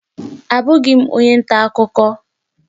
Abụghị m onye nta akụkọ